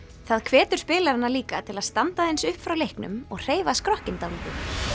það hvetur spilarana líka til að standa aðeins upp frá leiknum og hreyfa skrokkinn dálítið